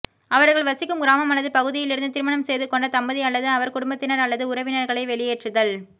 அவர்கள் வசிக்கும் கிராமம் அல்லது பகுதியிலிருந்து திருமணம் செய்து கொண்ட தம்பதி அல்லது அவர் குடும்பத்தினர் அல்லது உறவினர்களை வெளியேற்றுதல்